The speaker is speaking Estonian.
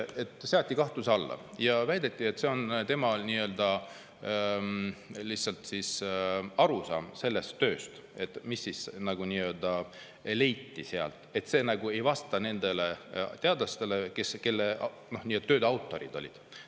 Need seati kahtluse alla ja väideti, et see on lihtsalt tema arusaam sellest tööst ja et see nagu ei vasta nende teadlaste, kes tööde autorid olid.